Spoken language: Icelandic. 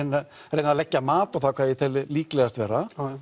reyna að leggja mat á það hvað ég tel líklegast vera